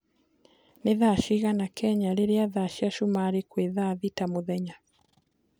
ni thaa cĩĩgana Kenya rĩrĩa thaa cĩa sumari kwi thaa thĩta mũthenya